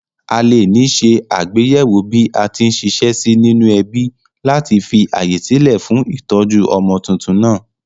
Alè ní se àgbéyéwò bí atí n siṣẹ́ sí nínú ẹbí láti fi ààyè sílè fún ìtójú ọmọ tuntun nàá